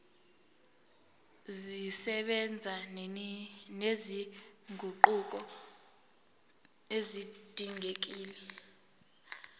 zisebenza nezinguquko ezidingekile